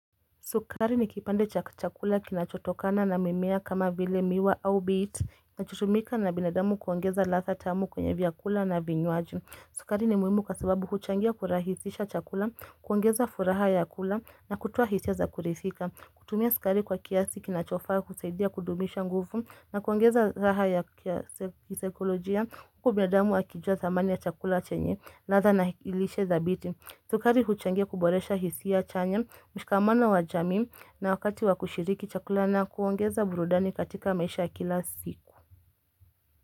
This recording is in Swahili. Sukari ni kipande cha chakula kinachotokana na mimea kama vile miwa au bit. Kinachutumika na binadamu kuongeza ladhaa tamu kwenye vyakula na vinywaji. Sukari ni muhimu kwasababu huchangia kurahisisha chakula, kuongeza furaha ya kula na kutowa hisia za kuridhika. Kutumia sukari kwa kiasi kinachofaa kusaidia kudumisha nguvu na kuongeza raha ya kisaikolojia. Huku binadamu akijua thamani ya chakula chenye, latha na lishe thabiti. Sukari huchangia kuboresha hisia chanya mshikamano wajamii na wakati wakushiriki chakula na kuongeza burudani katika maisha kila siku.